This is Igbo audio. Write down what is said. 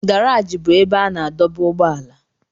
Garaji bụ ebe a na-adọba ụgbọala.